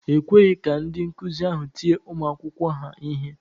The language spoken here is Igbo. E kweghị ka ndị nkụzi ahụ tie ụmụ akwụkwọ ha ihe.